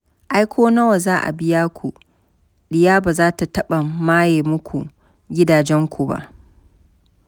Ai ko nawa za a biya ku diya ba za taɓa maye muku gidajenku ba.